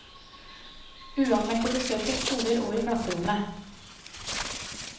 Uanmeldte besøk på skoler og i klasserommet.